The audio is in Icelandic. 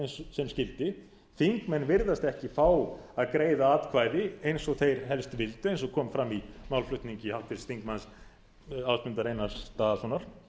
sem skyldi þingmenn virðast ekki fá að greiða atkvæði eins og þeir helst vildu eins og kom fram í málflutningi háttvirts þingmanns ásmundar einars daðasonar þar